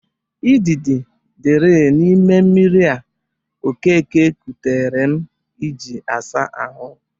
Idịdị dịri n'ime mmiri a Okeke kotere m iji asa ahụ.